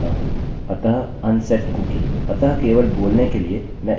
अतः केवल बोलने के लिए मैं इस कुकीcookie को अनिर्धारित करूँगा